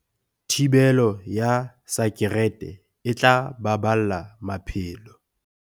Thibelo ya sakerete e tla baballa maphelo.